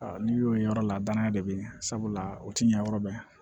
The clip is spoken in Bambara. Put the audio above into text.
n'i y'o ye yɔrɔ la danaya de be ye sabula o ti ɲɛ yɔrɔ bɛɛ